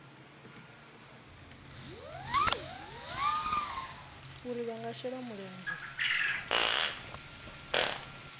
uri vha nga shela mulenzhe